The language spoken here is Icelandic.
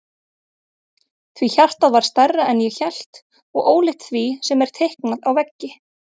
Því hjartað var stærra en ég hélt og ólíkt því sem er teiknað á veggi.